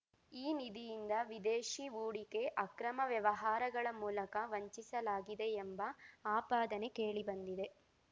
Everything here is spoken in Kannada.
ಈ ನಿಧಿಯಿಂದ ವಿದೇಶಿ ಹೂಡಿಕೆ ಅಕ್ರಮ ವ್ಯವಹಾರಗಳ ಮೂಲಕ ವಂಚಿಸಲಾಗಿದೆ ಎಂಬ ಆಪಾದನೆ ಕೇಳಿಬಂದಿದೆ